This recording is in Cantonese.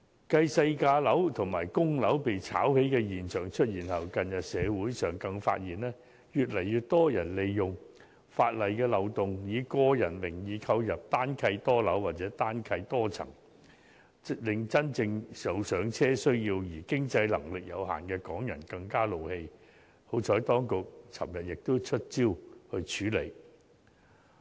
繼細價樓及公屋被炒起的現象出現後，近日社會上更發現，越來越多人利用法例的漏洞，以個人名義購入"單契多樓"或"單契多層"，令真正有"上車"需要而經濟能力有限的港人更憤怒，幸好當局昨日已"出招"處理。